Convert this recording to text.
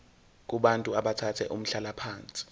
kubantu abathathe umhlalaphansi